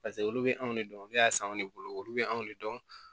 paseke olu be anw de dɔn ne y'a san anw de bolo olu be anw de dɔn